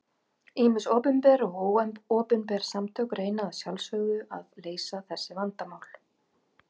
Ýmis opinber og óopinber samtök reyna að sjálfsögðu að leysa þessu vandamál.